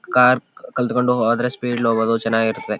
Car ಕಲ್ತಕೊಂಡು ಹೋದ್ರೆ speed ಅಲ್ಲಿ ಹೋಗೋದು ಚನ್ನಾಗಿರ್ತದೆ.